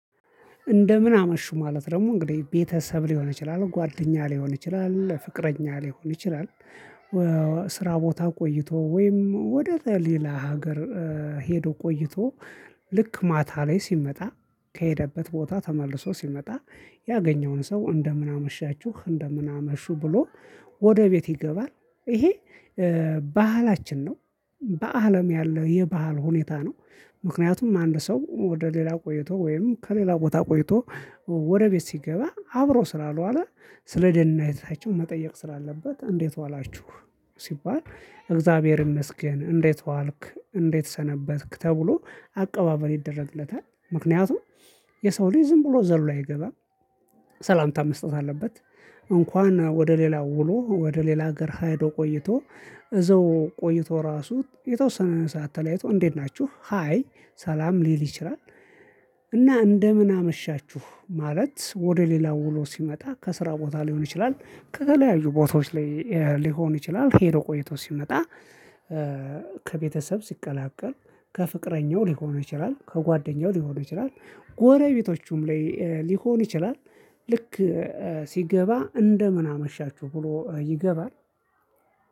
እንደምን አመሹ? ማለት ደግሞ እንግዲህ ቤተሰብ ሊሆን ይችላል ጓደኛ ሊሆን ይችላል ፍቅረኛ ሊሆን ይችላል ስራ ቦታ ቆይቶ ወይም ወደ ሌላ ሀገር ሄዶ ቆይቶ ልክ ማታ ላይ ሲመጣ ከሄደበት ቦታ ተመልሶ ሲመጣ ያገኘውን ሰው እንደምን አመሻችሁ እንደምን አመሹ ብሎ ወደ ቤት ይገባል ይሄ ባህላችን ነው በአለም ያለው የባህል ሁኔታ ነው ምክንያቱም አንድ ሰው ወደ ሌላ ቆይቶ ወይም ከሌላ ቦታ ቆይቶ ወደ ቤት ሲገባ አብሮ ስላልዋለ ስለ ደህንነታቸው መጠየቅ ስላለበት እንዴት ዋላችሁ ሲባል እግዚአብሔር ይመስገን እንዴት ዋልክ እንዴት ሰነበትክ ተብሎ አቀባበል ይደረግለታል ምክንያቱም የሰው ልጅ ዝም ብሎ ዘሎ አይገባም ሰላምታ መስጠት አለበት እንኳን ወደ ሌላው ውሎ ወደ ሌላ ሀገር ሄዶ ቆይቶ እዘው ቆይቶ ራሱ የተወሰነ ሰዓት ተለያይቶ እንዴት ናችሁ ሃይ ሰላም ሊል ይችላል እና እንደምን አመሻችሁ? ማለት ወደ ሌላ ውሎ ሲመጣ ከስራ ቦታ ሊሆን ይችላል ከተለያዩ ቦታዎች ላይ ሊሆን ይችላል ሄዶ ቆይቶ ሲመጣ ከቤተሰብ ሲቀላቀል ከፍቅረኛው ሊሆን ይችላል ከጓደኛው ሊሆን ይችላል ጎረቤቶቹም ላይ ሊሆን ይችላል ልክ ሲገባ እንደምን አመሻችሁ? ብሎ ይገባል